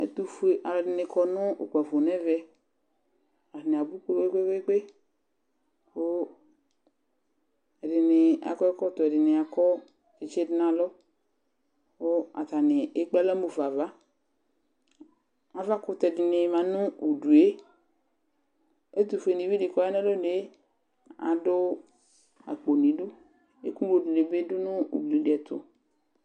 Ɛtʋfue alʋɛdɩnɩ kɔ nʋ ʋkpafo nʋ ɛvɛ Atanɩ abʋ kpe-kpe-kpe kʋ ɛdɩnɩ akɔ ɛkɔtɔ, ɛdɩnɩ akɔ tsɩtsɩ dʋ nʋ alɔ kʋ atanɩ ekpe alɔ mu fa ava Avakʋtɛ dɩnɩ ma nʋ udu yɛ Ɛtʋfuenɩvi dɩ kʋ ɔya nʋ alɔnu yɛ adʋ akpo nʋ idu Ɛkʋŋlo dɩnɩ bɩ nʋ ugli dɩ ɛtʋ